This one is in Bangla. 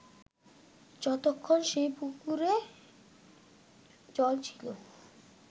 যতক্ষন সেই পুকুরে জল ছিল